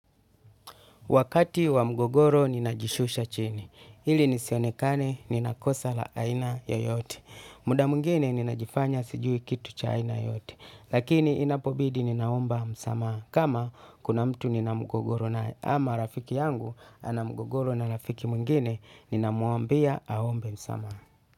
Wakati wa mgogoro ninajishusha chini. Hili nisionekane nina kosa la aina yoyote. Muda mwingine ninajifanya sijui kitu cha aina yoyote. Lakini inapobidi ninaomba msamaha. Kama kuna mtu nina mgogoro naye ama rafiki yangu ana mgogoro na rafiki mwingine ninamwambia aombe msamaha.